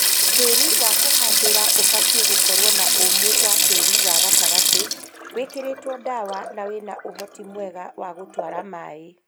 Tĩĩri wa kũhandĩra ibatĩĩ gukorwo na ũũmu wa tĩri wa gatagatĩ, wĩkĩritwo ndawa na wĩna ũhoti mwega wa gũtwara maĩ